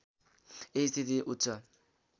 यही स्थिति उच्च